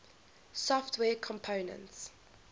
software components